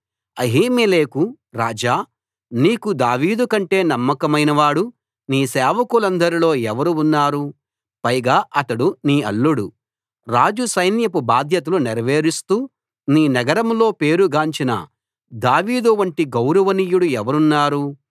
అహీమెలెకు రాజా నీకు దావీదు కంటే నమ్మకమైనవాడు నీ సేవకులందరిలో ఎవరు ఉన్నారు పైగా అతడు నీ అల్లుడు రాజు సైన్యపు బాధ్యతలు నేరవేరుస్తూ నీ నగరంలో పేరుగాంచిన దావీదు వంటి గౌరవనీయుడు ఎవరున్నారు